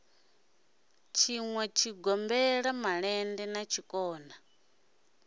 tshinwa zwigombela malende na zwikona